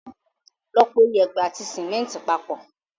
Lọ po yèèpẹ̀ àti símẹ́ńtì papọ̀.